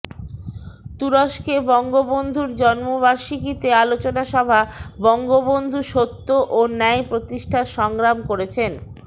তুরস্কে বঙ্গবন্ধুর জন্মবার্ষিকীতে আলোচনা সভা বঙ্গবন্ধু সত্য ও ন্যায় প্রতিষ্ঠায় সংগ্রাম করেছেন